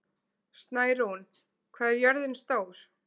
Snærún, hvað er jörðin stór?